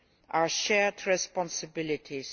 are shared responsibilities.